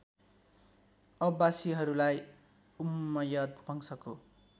अब्बासिहरूलाई Umayyad वंशको